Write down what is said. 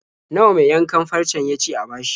Nawa mai yankan farcen ya ce a bashi?